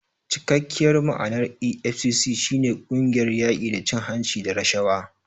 Cikakkiyar ma'anar EFCC shi ne "Ƙungiyar yaƙi da cin hanci da rashawa".